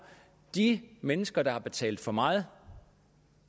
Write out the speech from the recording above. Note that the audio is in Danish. de mennesker der har betalt for meget